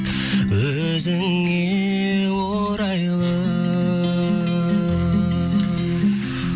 өзіңе орайлы